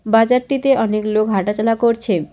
বাজারটিতে অনেক লোক হাঁটাচলা করছে।